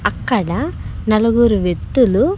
అక్కడ నలుగురు వెత్తులు.